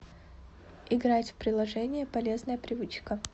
играть в приложение полезная привычка